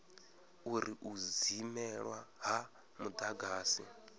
uri u dzimelwa ha mudagasi